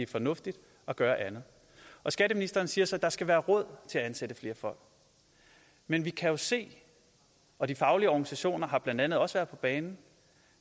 fornuftigt at gøre andet skatteministeren siger så at der skal være råd til at ansætte flere folk men vi kan jo se og de faglige organisationer har blandt andet også været på banen